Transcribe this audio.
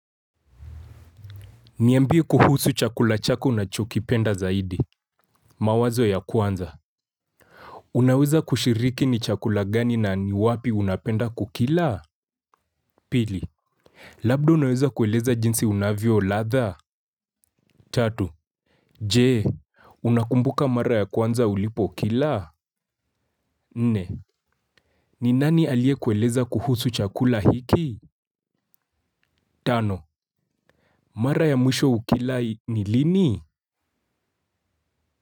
Niambie kuhusu chakula chako unachokipenda zaidi. Mawazo ya kwanza. Unaweza kushiriki ni chakula gani na ni wapi unapenda kukila? Pili. Labda unaweza kueleza jinsi unavyo ladha? Tatu. Je, unakumbuka mara ya kwanza ulipo kila? Nne, ni nani aliye kueleza kuhusu chakula hiki? Tano. Mara ya mwisho kukila ni lini?